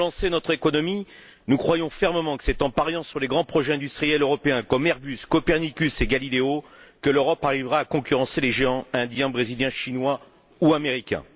Pour relancer notre économie, nous croyons fermement que c'est en pariant sur les grands projets industriels européens, tels qu'Airbus, Copernicus et Galileo, que l'Europe parviendra à concurrencer les géants indien, brésilien, chinois ou américain.